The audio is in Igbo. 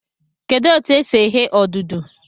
Kedụ etu e si eghe odudu?